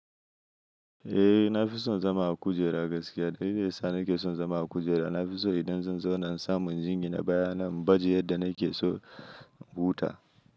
Eh, na fi son zama a kujera gaskiya. Dalilin da na ke son zama a kujera, na fi so idan zan zauna in samu in jingina baya na, in baje yadda na ke so, in huta.